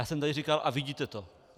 Já jsem tady říkal: A vidíte to!